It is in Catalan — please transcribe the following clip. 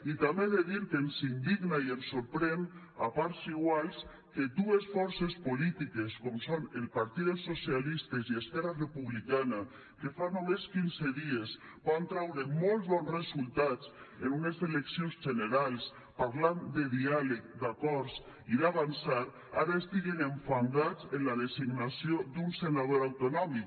i també he de dir que ens indigna i ens sorprèn a parts iguals que dues forces polítiques com són el partit dels socialistes i esquerra republicana que fa només quinze dies van traure molt bons resultats en unes eleccions generals parlant de diàleg d’acords i d’avançar ara estiguen enfangats en la designació d’un senador autonòmic